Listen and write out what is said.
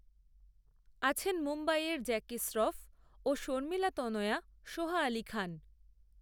আছেন মুম্বইয়ের জ্যাকি শ্রফ, ও শর্মিলা তনয়া সোহা আলি খান